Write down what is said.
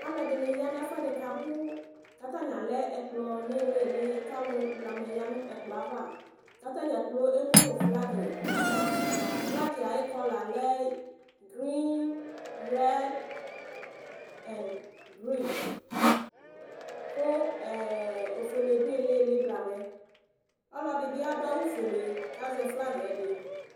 Aluɛdini ayanu ɛfuɛdi katani abu kalu blamɛdi ya nu ɛkplɔ ava ku atadza kplo emu nu flagi nava flagi ayu kɔla nu greenred ofuele du ayili ɔlɔdi bi adu awu fuele ku azɛ flagi